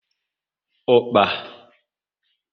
Ukpa